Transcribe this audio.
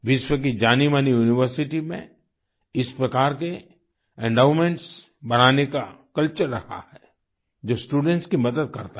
विश्व की जानीमानी यूनिवर्सिटी में इस प्रकार के एंडोमेंट्स बनाने का कल्चर रहा है जो स्टूडेंट्स की मदद करता है